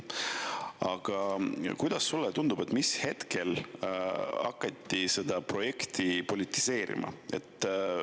Aga kuidas sulle tundub, mis hetkel hakati seda projekti politiseerima?